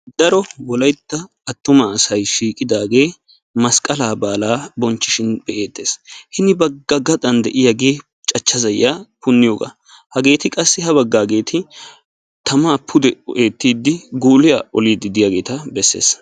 Daro wolayitta attuma asay shiiqidaagee masqalaa baalaa bochchishin be'eettes. Hini bagga gaxan de"iyaagee cachcha zayiya punniyooga. Hageeeti qassi ha baggaageti tamaa pude eettiiddi guuliyaa oliiddi diyaageta bessees.